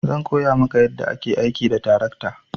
Zan koya maka yadda ake aiki da tarakta.